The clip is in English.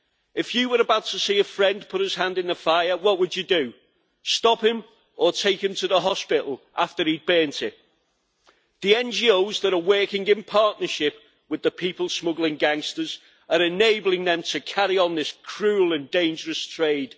If you were about to see a friend put his hand in the fire, what would you do stop him, or take him to the hospital after he had burned it? The NGOs that are working in partnership with the people smuggling gangsters are enabling them to carry on this cruel and dangerous trade.